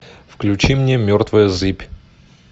включи мне мертвая зыбь